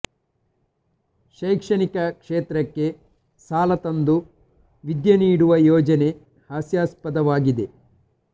ಶೈಕ್ಷಣಿಕ ಕ್ಷೇತ್ರಕ್ಕೆ ಸಾಲ ತಂದು ವಿದ್ಯೆ ನೀಡುವ ಯೋಜನೆ ಹಾಸ್ಯಾಸ್ಪದ ವಾಗಿದೆ